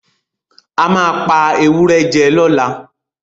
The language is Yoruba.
A máa pa ewúrẹ́ jẹ lọ́làá.